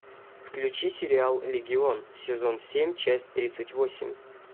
включи сериал легион сезон семь часть тридцать восемь